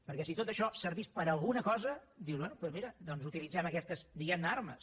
perquè si tot això servís per a alguna cosa dius bé doncs mira doncs utilitzem aquestes diguem ne armes